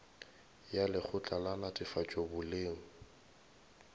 ya lekgotla la netefatšo boleng